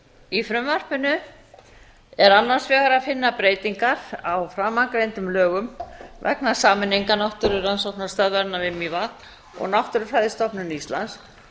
í frumvarpinu er annars vegar að finna breytingar á framangreindum lögum vegna sameiningar náttúrurannsóknastöðvarinnar við mývatn og náttúrufræðistofnunar íslands